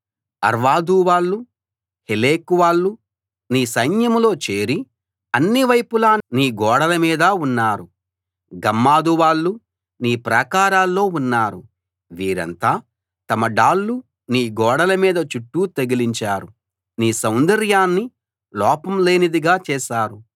Arvad వాళ్ళు Helech వాళ్ళు నీ సైన్యంలో చేరి అన్ని వైపులా నీ గోడల మీద ఉన్నారు గమ్మాదు వాళ్ళు నీ ప్రాకారాల్లో ఉన్నారు వీరంతా తమ డాళ్లు నీ గోడల మీద చుట్టూ తగిలించారు నీ సౌందర్యాన్ని లోపం లేనిదిగా చేశారు